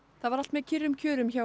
það var allt með kyrrum kjörum hjá